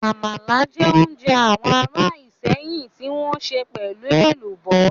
Àmàlà jẹ́ oúnjẹ àwọn ará Ìsẹ́yìn tí wọ́n sè pelu Ẹ̀lùbọ́